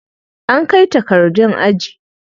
An kai takardun aji.